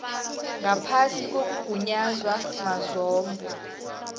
ngaphasi kokugunyaza mazombe